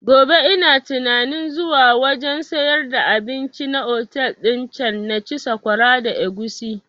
Gobe ina tunanin zuwa wajen sayar da abinci na otel din can na ci sakwara da agushi